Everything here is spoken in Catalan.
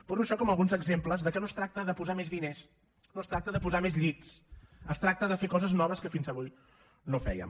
poso això com alguns exemples de que no es tracta de posar més diners no es tracta de posar més llits es tracta de fer coses noves que fins avui no fèiem